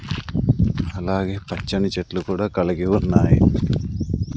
అలాగే పచ్చని చెట్లు కూడా కలిగి ఉన్నాయి.